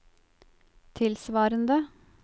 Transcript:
tilsvarende